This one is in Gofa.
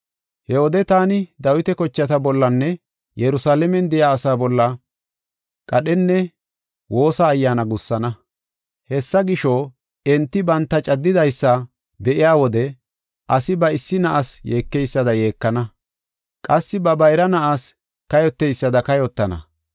“He wode taani Dawita kochata bollanne Yerusalaamen de7iya asaa bolla qadhenne woosa ayyaana gussana. Hessa gisho, enti banta caddidaysa be7iya wode asi ba issi na7as yeekeysada yeekana. Qassi ba bayra na7as kayoteysada kayotana.